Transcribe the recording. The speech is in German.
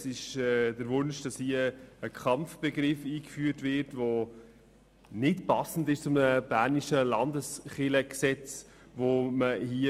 Es wird der Wunsch geäussert, einen Kampfbegriff einzuführen, der nicht zum bernischen Landeskirchengesetz passt.